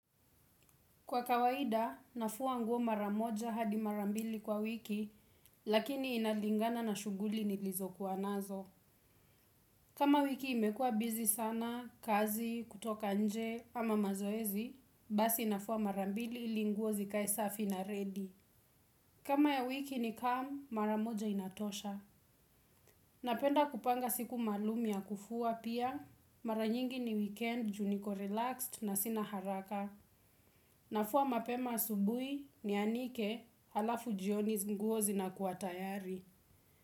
Kwa kawaida, nafua nguo mara moja hadi mara mbili kwa wiki, lakini inalingana na shuguli nilizokuwa nazo. Kama wiki imekua bizi sana, kazi, kutoka nje, ama mazoezi, basi nafua mara mbili ili nguo zikae safi na ready. Kama ya wiki ni calm, mara moja inatosha. Napenda kupanga siku maalum ya kufua pia, mara nyingi ni weekend juu niko relaxed na sina haraka. Na fua mapema asubuhi nianike alafu jioni hizi nguo zinakuwa tayari.